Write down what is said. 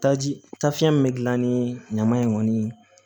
Taji tasiɲɛ min bɛ gilan ni ɲama in kɔni ye